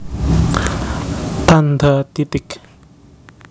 Tandha titik